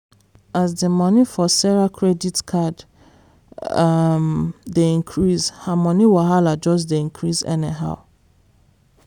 as the money for sarah credit card um dey increase her money wahala just dey increase anyhow.